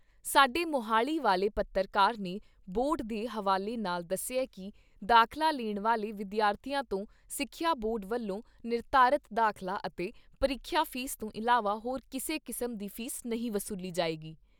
ਸਾਡੇ ਮੁਹਾਲੀ ਵਾਲੇ ਪੱਤਰਕਾਰ ਨੇ ਬੋਰਡ ਦੇ ਹਵਾਲੇ ਨਾਲ ਦੱਸਿਆ ਕਿ ਦਾਖਲਾ ਲੈਣ ਵਾਲੇ ਵਿਦਿਆਰਥੀਆਂ ਤੋਂ ਸਿੱਖਿਆ ਬੋਰਡ ਵੱਲੋਂ ਨਿਰਧਾਰਿਤ ਦਾਖ਼ਲਾ ਅਤੇ ਪ੍ਰੀਖਿਆ ਫ਼ੀਸ ਤੋਂ ਇਲਾਵਾ ਹੋਰ ਕਿਸੇ ਕਿਸਮ ਦੀ ਫੀਸ ਨਹੀਂ ਵਸੂਲੀ ਜਾਏਗੀ।